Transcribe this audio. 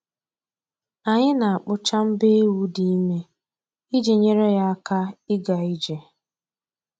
Anyị na-akpụcha mbọ ewu dị ime iji nyere ya aka ịga ije